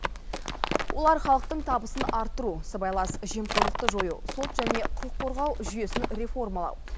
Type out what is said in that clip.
олар халықтың табысын арттыру сыбайлас жемқорлықты жою сот және құқық қорғау жүйесін реформалау